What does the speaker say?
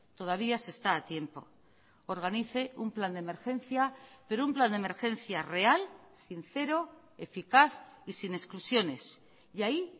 todavía se está a tiempo organice un plan de emergencia pero un plan de emergencia real sincero eficaz y sin exclusiones y ahí